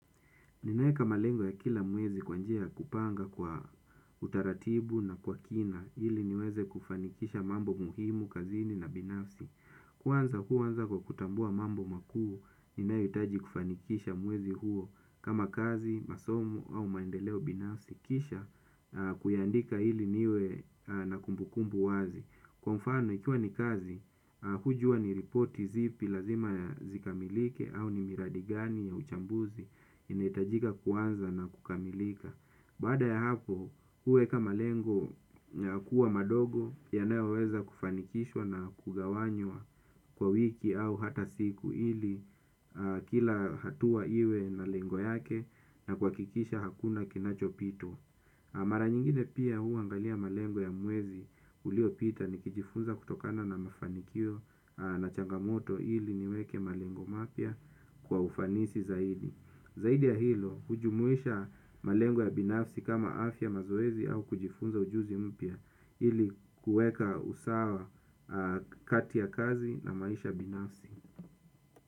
Ninaeka malengo ya kila mwezi kwa njia ya kupanga kwa utaratibu na kwa kina ili niweze kufanikisha mambo muhimu kazini na binafsi. Kwanza huanza kwa kutambua mambo makuu, ninayohitaji kufanikisha mwezi huo kama kazi, masomo au maendeleo binafsi, kisha kuyaandika ili niwe na kumbukumbu wazi. Kwa mfano ikiwa ni kazi hujua ni ripoti zipi lazima zikamilike au ni miradi gani ya uchambuzi inahitajika kuanza na kukamilika. Baada ya hapo huweka malengo ya kuwa madogo yanayoweza kufanikishwa na kugawanywa kwa wiki au hata siku ili kila hatua iwe na lengo yake na kuhakikisha hakuna kinachopitwa. Mara nyingine pia huangalia malengo ya mwezi uliopita nikijifunza kutokana na mafanikio na changamoto ili niweke malengo mapya kwa ufanisi zaidi. Zaidi ya hilo hujumuisha malengo ya binafsi kama afya, mazoezi au kujifunza ujuzi mpya ili kuweka usawa kati ya kazi na maisha binafsi.